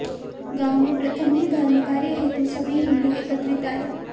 गांव में प्रथम ही धर्मकार्य हेतु सभी हिन्दू एकत्रित आए